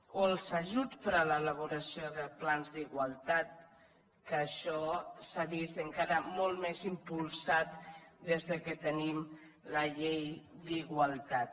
o els ajuts per a l’elaboració de plans d’igualtat que això s’ha vist encara molt més impulsat des que tenim la llei d’igualtat